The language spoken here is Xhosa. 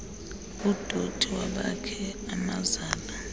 udothi wabakhi amazala